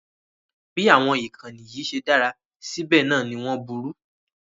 Bí àwọn ìkànnì yìí ṣe dára sí bẹ́ẹ̀ náà ni wọ́n burú